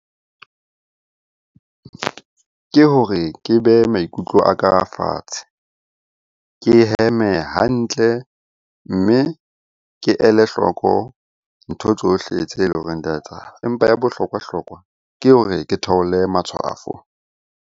Ke hore ke behe maikutlo a ka fatshe, ke heme hantle. Mme ke ele hloko ntho tsohle tse leng hore di a etsahala, empa ya bohlokwa-hlokwa ke hore ke theole matshwafo.